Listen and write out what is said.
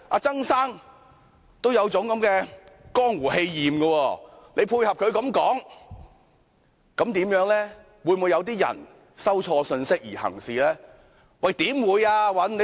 曾先生有這樣的江湖氣焰，何議員配合他這樣說話，會否有人錯收信息而行事呢？